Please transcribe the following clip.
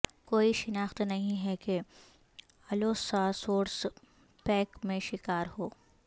کوئی شناخت نہیں ہے کہ الوساسورس پیک میں شکار ہو